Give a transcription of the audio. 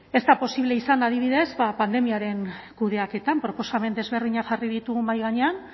ez da posible izan adibidez pandemiaren kudeaketan proposamen desberdinak jarri ditugu mahai gainean